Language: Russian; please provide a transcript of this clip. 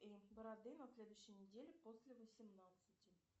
бороды на следующей неделе после восемнадцати